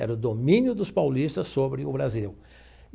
Era o domínio dos paulistas sobre o Brasil.